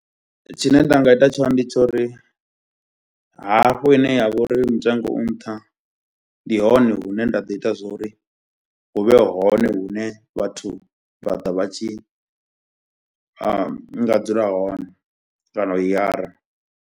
Tshine nda nga ita tshone ndi tsha uri hafho ine yavha uri mutengo u nṱha ndi hone hune nda ḓo ita zwo ri hu vhe hone hune vhathu vha ḓa vha tshi nga dzula hone kana u hayara.